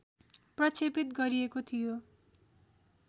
प्रक्षेपित गरिएको थियो